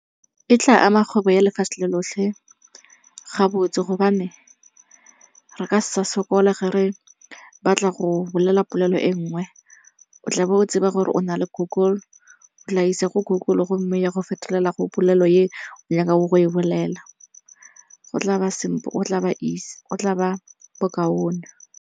E tla ama kgwebo ya lefatshe le lotlhe ga botse gobane re ka se sa sokole ge re batla go bolela polelo e nngwe. O tla bo o tseba gore o na le Google, o tla isa ko Google gomme ya go fetolela go polelo e nyakago go e bolela. Go tla ba bo kaone.